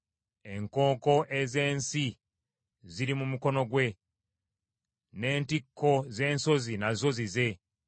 Enkonko ez’ensi ziri mu mukono gwe; n’entikko z’ensozi nazo zize.